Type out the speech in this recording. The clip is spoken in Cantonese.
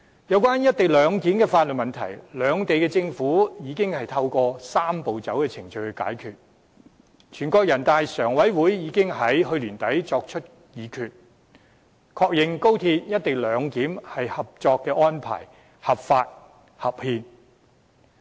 有關"一地兩檢"的法律問題，兩地政府已透過"三步走"程序解決，人大常委會已於去年年底作出議決，確認高鐵"一地兩檢"合作安排合法、合憲。